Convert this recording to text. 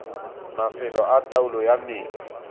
mafelo a taolo ya metsi